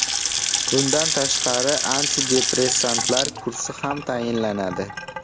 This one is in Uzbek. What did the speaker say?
Bundan tashqari, antidepressantlar kursi ham tayinlanadi.